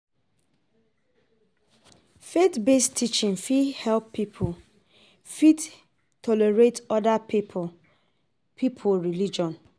Faith based teaching fit help pipo fit tolerate oda pipo pipo religion